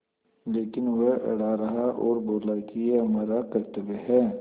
लेकिन वह अड़ा रहा और बोला कि यह हमारा कर्त्तव्य है